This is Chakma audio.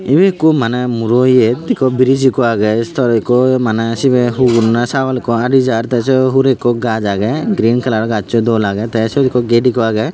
ibey ikko maneh muro yet ikko briz ikko agey tor ikko maneh sibey hugur na sagol ikko adi jar tey sei hurey ikko gaaj agey green kalar gajjo dol agey tey siyot ikko gate ikko agey.